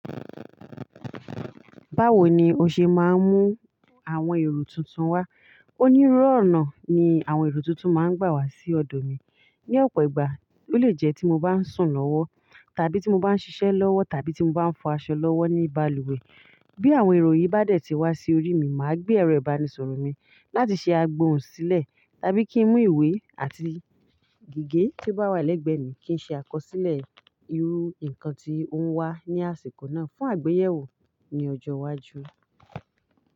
Báwo ni o ṣe máa ń mú àwọn èrò tuntun wá? Onírúurú ọ̀nà ni àwọn èrò tuntun máa ń gbà wá sí ọ̀dọ̀ mi. Ni ọ̀pọ̀ ìgbà, ó lè jẹ́ tí mo bá ń sùn lọ́wọ́, tàbí tí mo bá ń ṣiṣẹ́ lọ́wọ́, tàbí tí mo bá ń fọ aṣọ lọ́wọ́ ní balùwẹ̀. Bí àwọn èrò yìí bá dẹ̀ tí wá sí orí mi, màá gbé ẹrọ ìbánisọ̀rọ̀ mi láti ṣe àgbòhùn sílẹ̀ tàbí kí n mú ìwé àti gègé tí ó bá wà lẹ́gbẹ̀ẹ́ mi kí n ṣe àkọsílẹ̀ irú nǹkan tí ó ń wá ní àsìkò náà fún àgbéyẹ̀wò ní ọjọ́ iwájú.